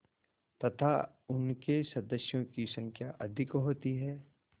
तथा उनके सदस्यों की संख्या अधिक होती है